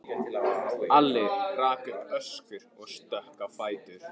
Alli rak upp öskur og stökk á fætur.